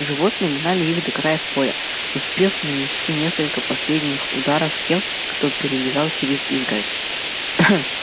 животные гнали их до края поля успев нанести несколько последних ударов тем кто перелезал через изгородь